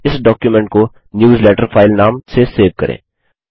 इस डॉक्युमेंट को newsletter file नाम से सेव करें